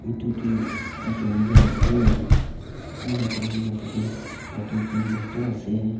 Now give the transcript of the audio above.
Etutu jungle ase enakurena tate bhator Khan porta ase.